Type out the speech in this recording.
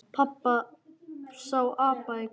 Pabbi sá apa í garðinum.